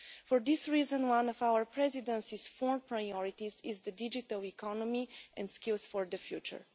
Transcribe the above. For this reason, one of our Presidency's four priorities is the digital economy and skills for the future.